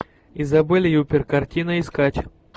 изабель юппер картина искать